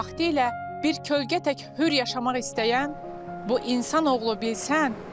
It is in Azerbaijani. Vaxtilə bir kölgə tək hür yaşamaq istəyən bu insanoğlu bilsən.